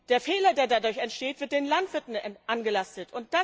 Der Fehler, der dadurch entsteht, wird den Landwirten angelastet.